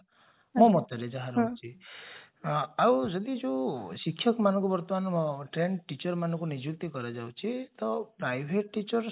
ମୋ ମତରେ ଯାହା ରହୁଛି ଆଉ ଯଦି ଯଉ ଶିକ୍ଷକମନଙ୍କୁ ବର୍ତ୍ତମାନ trained teacherମାନଙ୍କୁ ଯଉ ନିଯୁକ୍ତି କରାଯାଉଛି ତ private teacher